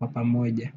wa pamoja.